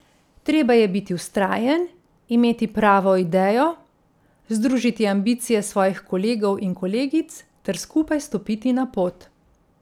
Treba je biti vztrajen, imeti pravo idejo, združiti ambicije svojih kolegov in kolegic ter skupaj stopiti na pot.